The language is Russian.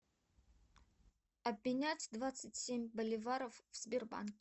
обменять двадцать семь боливаров в сбербанке